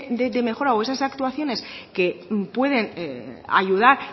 de mejora o esas actuaciones que pueden ayudar